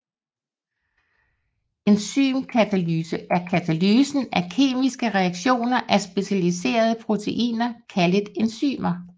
Enzymkatalyse er katalysen af kemiske reaktioner af specialiserede proteiner kaldet enzymer